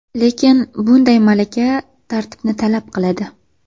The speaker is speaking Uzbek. Lekin bunday malaka tartibni talab qiladi.